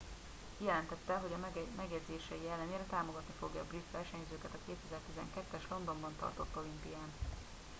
kijelentette hogy megjegyzései ellenére támogatni fogja a brit versenyzőket a 2012 es londonban tartott olimpián